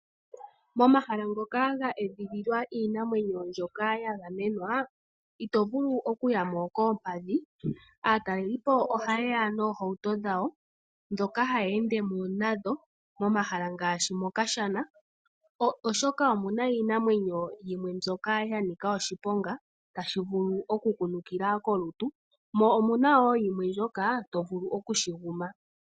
Momahala ngoka ga edhililwa iinamwenyo mbyoka ya gamenwa, ito vulu okuya mo koompadhi. Aatalelipo ohaye ya noohauto dhawo ndhoka haya ende mo nadho momahala ngaashi mokashana, oshoka omu na iinamwenyo yimwe ya ninga oshiponga tashi vulu okukunukila kolutu, mo omu na wo yimwe mbyoka to vulu okushi guma.